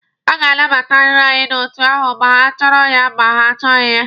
A ga-anabatariri anyị n'otu ahụ ma ha chọrọ ya ma ha achọghị ya.